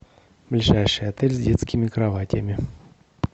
ближайший отель с детскими кроватями